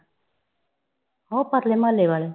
ਓ ਪਰਲੇ ਮਹਲੇ ਵਾਲੇ